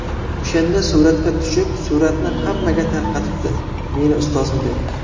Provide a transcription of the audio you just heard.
O‘shanda suratga tushib suratni hammaga tarqatibdi meni ustozim deb.